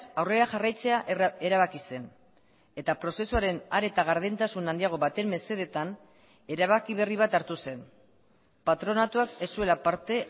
aurrera jarraitzea erabaki zen eta prozesuaren are eta gardentasun handiago baten mesedetan erabaki berri bat hartu zen patronatuak ez zuela parte